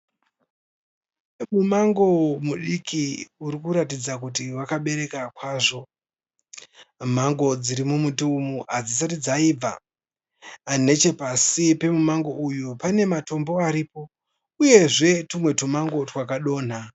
Mumango mudiki urikuratidza kuti wakabereka kwazvo. Mango dziri mumuti uyu hadzisati dzaibva. Nechepasi pemumangu uyu pane matombo aripo uyezve tumwe tumango twakadonha.